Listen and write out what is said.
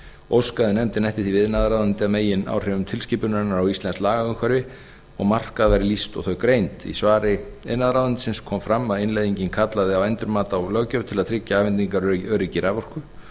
óskaði nefndin eftir því við iðnaðarráðuneytið að megináhrifum tilskipunarinnar á íslenskt lagaumhverfi og markað væri lýst og þau greind í svari iðnaðarráðuneytisins kom fram að innleiðingin kallaði á endurmat á löggjöf til að tryggja afhendingaröryggi raforku